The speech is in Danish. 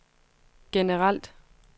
generelt